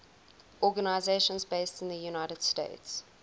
organizations based in the united states